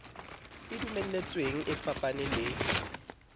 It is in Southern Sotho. e dumeletsweng e fapane le